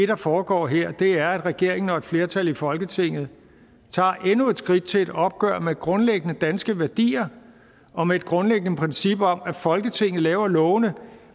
der foregår her er at regeringen og et flertal i folketinget tager endnu et skridt til et opgør med grundlæggende danske værdier og med et grundlæggende princip om at folketinget laver lovene